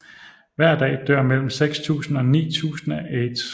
Hver dag dør mellem 6000 og 9000 af aids